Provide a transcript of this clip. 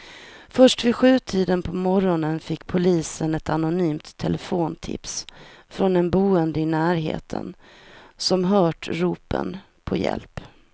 Först vid sjutiden på morgonen fick polisen ett anonymt telefontips från en boende i närheten som hört ropen på hjälp.